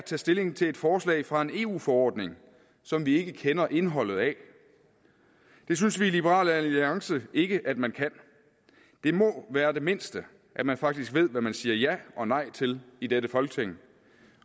tage stilling til et forslag fra en eu forordning som vi ikke kender indholdet af det synes vi i liberal alliance ikke at man kan det må være det mindste at man faktisk ved hvad man siger ja og nej til i dette folketing